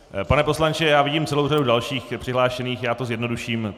Pane poslanče, já vidím celou řadu dalších přihlášených, já to zjednoduším.